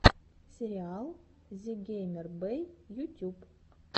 сериал зэгеймербэй ютюб